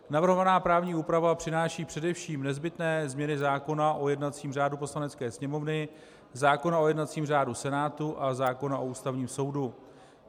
Navrhovaná právní úprava přináší především nezbytné změny zákona o jednacím řádu Poslanecké sněmovny, zákona o jednacím řádu Senátu a zákona o Ústavním soudu.